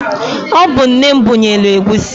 Ọ bu nne m bunyelu egwusi.